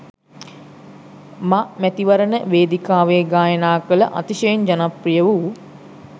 මමැතිවරණ වේදිකාවේ ගායනා කළ අතිශයින් ජනප්‍රිය වූ